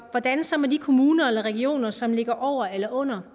hvordan så med de kommuner eller regioner som ligger over eller under